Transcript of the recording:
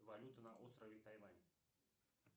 валюта на острове тайвань